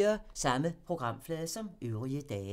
Samme programflade som øvrige dage